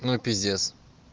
ну пиздец